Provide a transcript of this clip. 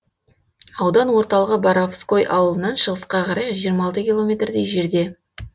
аудан орталығы боровской ауылынан шығысқа қарай жиырма алты километрдей жерде